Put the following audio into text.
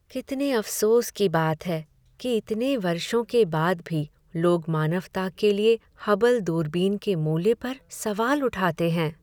कितने अफ़सोस की बात है कि इतने वर्षों के बाद भी लोग मानवता के लिए हबल दूरबीन के मूल्य पर सवाल उठाते हैं।